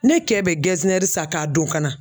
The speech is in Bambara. Ne kɛ bɛ san k'a don ka na